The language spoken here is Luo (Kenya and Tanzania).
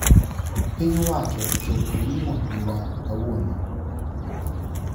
Piny owacho ochopo nyim od bura kawuono